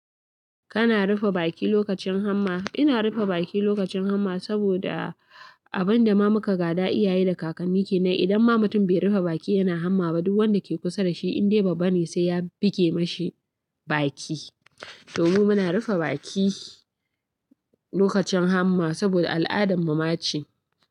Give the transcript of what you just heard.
Kana rufe baki lokacin hamma? Ina rufe baki lokacin hamma saboda abin dama muka gaɗa iyaye da kakanni kenan. Idan ma mutun bai rufe baki yana hamma ba, duk wanda ke kusa da shi indai babba ne sai ya buge mashi baki. Toh mu muna rufe baki lokacin hamma saboda al'adan muma ce.